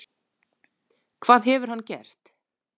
Hvað hefur hann gert?